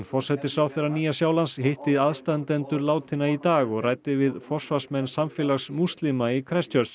forsætisráðherra Nýja Sjálands hitti aðstandendur látinna í dag og ræddi við forsvarsmenn samfélags múslima í